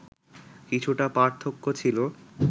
কিছুটা পার্থক্য ছিল